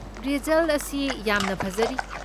Result ꯑꯁꯤ ꯌꯥꯝꯅ ꯐꯖꯔꯤ꯫